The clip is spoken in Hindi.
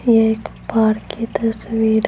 ये एक पार्क की तस्वीर--